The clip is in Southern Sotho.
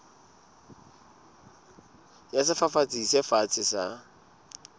ya sefafatsi se fatshe sa